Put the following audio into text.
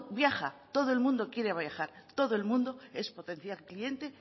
viaja todo el mundo quiere viajar todo el mundo es potencial cliente